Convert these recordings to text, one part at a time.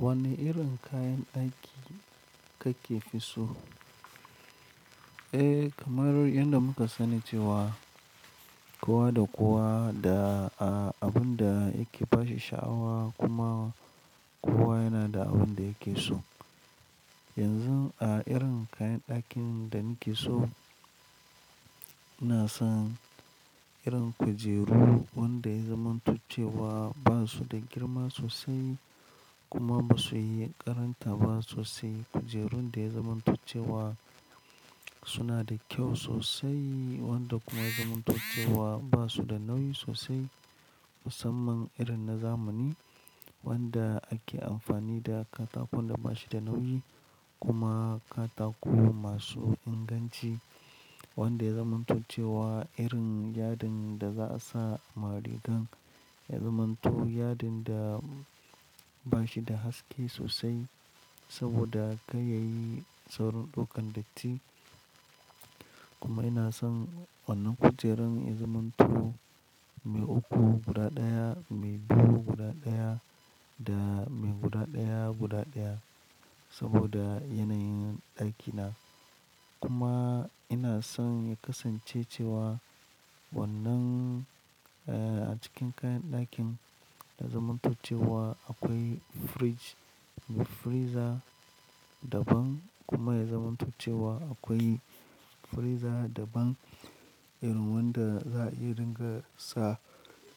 Wane irin kayan ɗaki kake fi so? Eh kamar yadda muka sani ce wa kowa da kowa da abin da yake fashe sha'awa kuma kowa yana da abin da yake so. Yanzu a irin kayan ɗakin da nake so, ina son irin kujeru wanda ya zamantacce wa basu da girma sosai kuma basu yi ƙaranta ba sosai. Kujerun da ya zamantocce wa suna da kyau sosai wanda kuma ya zamantocce wa basu da nauyi sosai musamman irin na zamani wanda ake amfani da katakon da bashi da nauyi kuma katako masu inganci wanda ya zamantacce wa irin yadin da za a sa maɗigan ya zamanto yadin da bashi da haske sosai saboda kai yayi tsaurin ɗaukan datti. Kuma ina son wannan kujerun ya zamantu mai uku guda ɗaya, mai biyu guda ɗaya da mai guda ɗaya guda ɗaya saboda yanayin ɗakina. Kuma ina son ya kasance cewa wannan a cikin kayan ɗakin da zamantocce wa akwai fridge mai freezer daban kuma ya zamantocce wa akwai freezer daban irin wanda za a iya dinga sa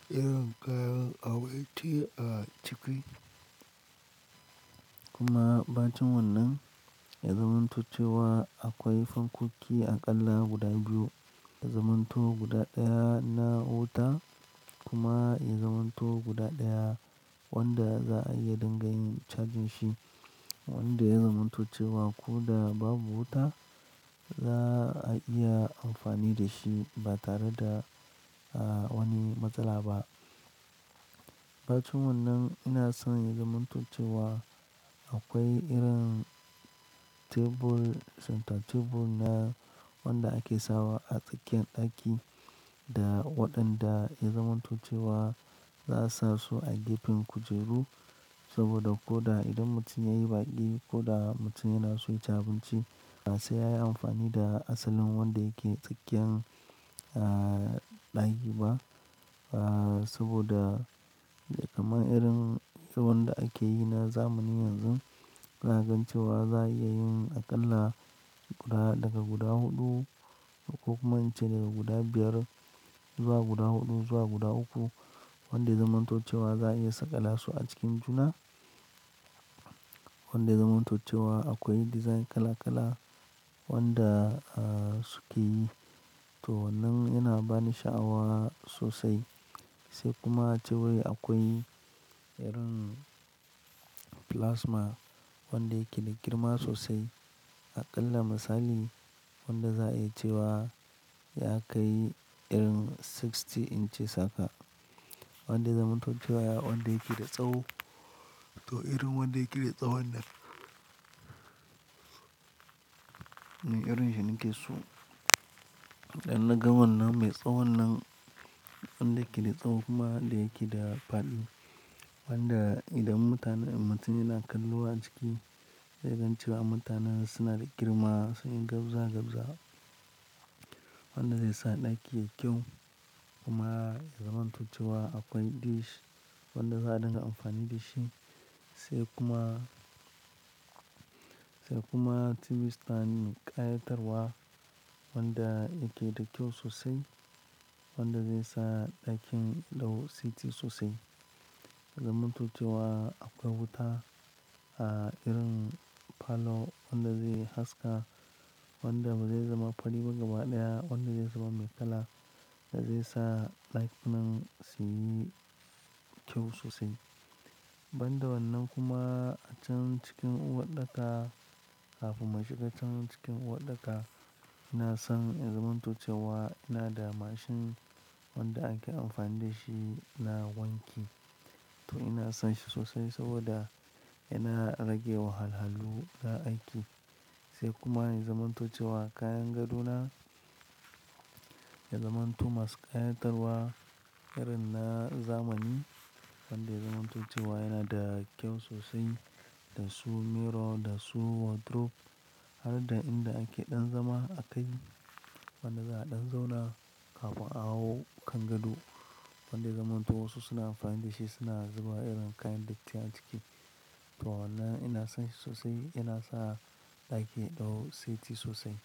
irin kayan awaiti a ciki. Kuma bacin wannan ya zamantocce wa akwai fankoki aƙalla guda biyu ya zamanto guda ɗaya na wuta kuma ya zamanto guda ɗaya wanda za a iya dinga yin chajin shi wanda ya zamantacce wa ko da babu wuta za a iya amfani da shi ba tare da wani matsala ba. Bacin wannan ina son ya zamantocce wa akwai irin tebur, center tebur na wanda ake sawa a tsakiyar ɗaki da waɗanda ya zamantocce wa za a sa su a gefen kujeru saboda ko da idan mutum yayi baƙi ko da mutum yana so yaci abinci ba sai yayi amfani da asalin wanda yake tsakiyan ɗaki ba saboda kamar irin wanda ake yi na zamani yanzu ina gancewa za a iya yin aƙalla ga daga guda huɗu ko kuma in ce daga guda biyar zuwa guda huɗu zuwa guda uku wanda ya zamantocce wa za a iya saka lasu a cikin juna wanda ya zamantocce wa akwai dizain kala kala wanda suke yi. To wannan yana bani sha'awa sosai sai kuma cewai akwai irin plasma wanda yake da girma sosai aƙalla misali wanda za a yi cewa ya kai irin sixty inches haka wanda ya zamantocce wa wanda yake da tsawo. To irin wanda yake da tsawo nan ne irin shi nake so. Dan na ga wannan mai tsawo nan wanda yake da tsawo kuma wanda yake da faɗi wanda idan mutane mutum yana kallo a ciki zai gancewa mutanen suna da girma suna gabza gabza wanda zai sa ɗaki yayi kyau kuma ya zamantacce wa akwai dish wanda za a dinga amfani da shi sai kuma, da kuma TV stand mai ƙayatarwa wanda yake da kyau sosai wanda zai sa ɗakin dau seti sosai. Ya zamantocce wa akwai wuta irin palo wanda zai haska wanda bazai zama faɗi ba gaba ɗaya wanda zai zuba mai kala da zai sa ɗakinan suyi kyau sosai. Banda wannan kuma a can cikin uwarɗaka kafin mu shiga can cikin uwarɗaka ina son ya zamantocce wa ina da mashin wanda ake amfani da shi na wanki to ina son shi sosai saboda yana rage wahalahalu na aiki sai kuma ya zamantocce wa kayan gado na ya zamanto masu ƙayatarwa irin na zamani wanda ya zamantocce wa yana da kyau sosai da su mirror da su wardrobe har da inda ake ɗan zama a kai wanda za a ɗan zauna kafin a hau kan gado wanda ya zamanto wasu suna amfani da shi suna zuba irin kayan datti a ciki. To wannan ina son shi sosai yana sa ɗaki dau siti sosai.